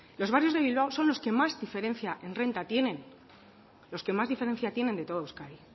los barrios de bilbao son los que más diferencia en renta tienen los que más diferencia tienen de toda euskadi